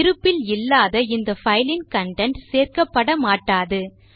இருப்பில் இல்லாத இந்த பைல் இன் கன்டென்ட் சேர்க்கப்பட மாட்டாது